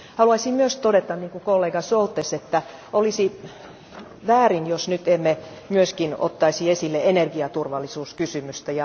Haluaisin myös todeta, niin kuin kollega Šoltes, että olisi väärin, jos nyt emme myöskin ottaisi esille energiaturvallisuuskysymystä.